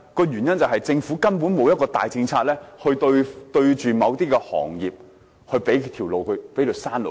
原因是政府根本沒有一個大政策對應某些行業，給他們一條生路。